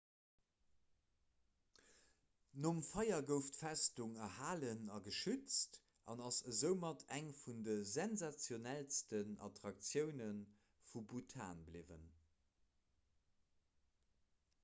nom feier gouf d'festung erhalen a geschützt an ass esoumat eng vun de sensationellsten attraktioune vu bhutan bliwwen